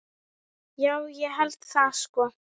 Já, ég held það sko.